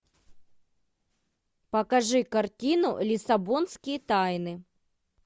покажи картину лиссабонские тайны